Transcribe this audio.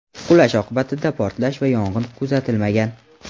Qulash oqibatida portlash va yong‘in kuzatilmagan.